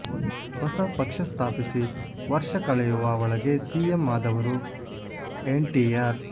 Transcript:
ಹೊಸ ಪಕ್ಷ ಸ್ಥಾಪಿಸಿ ವರ್ಷ ಕಳೆಯುವ ಒಳಗೆ ಸಿಎಂ ಆದವರು ಎನ್ಟಿಆರ್